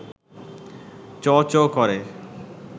চোঁ-চোঁ করে